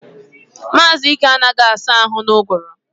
Mazi Ike anagahi asa ahu na-uguru